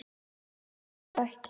Nei, ég geri það ekki